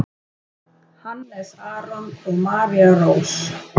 Hannes Aron og María Rós.